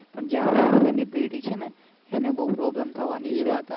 આપને આગળ ની પેઢી છે ને અને બઉ problem થવાની છે.